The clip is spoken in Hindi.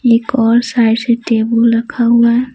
एक और साइड से टेबुल रखा हुआ है।